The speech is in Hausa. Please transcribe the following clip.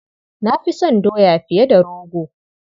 Na fi son doya fiye da rogo.